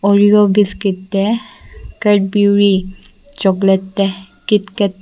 oreo biscuit te cadbury chocolate te kitkat --